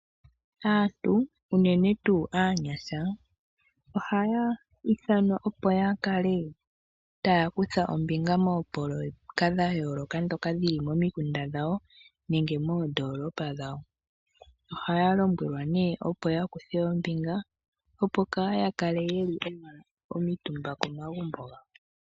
Aantu, unene tuu aanyasha ohaya ithanwa opo yakale taya kutha ombinga moopololeka dha yooloka ndhoka dhili momikunda dhawo nenge moondolopa dhawo. Oha yalombelwa nee opo yakuthe ombinga opo kaayakale yeli omitumba komagumbo gawo.